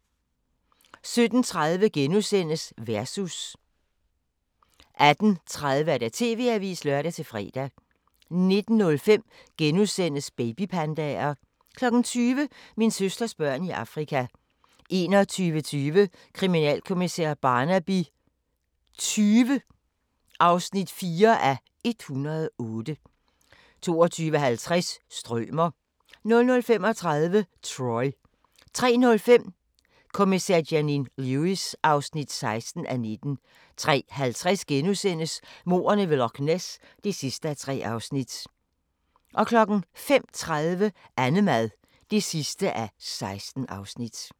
17:30: Versus * 18:30: TV-avisen (lør-fre) 19:05: Babypandaer * 20:00: Min søsters børn i Afrika 21:20: Kriminalkommissær Barnaby XX (4:108) 22:50: Strømer 00:35: Troy 03:05: Kommissær Janine Lewis (16:19) 03:50: Mordene ved Loch Ness (3:3)* 05:30: Annemad (16:16)